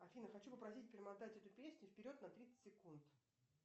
афина хочу попросить перемотать эту песню вперед на тридцать секунд